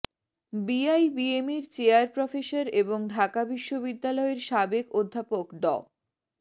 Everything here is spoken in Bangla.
বিআইবিএমের চেয়ার প্রফেসর এবং ঢাকা বিশ্ববিদ্যালয়ের সাবেক অধ্যাপক ড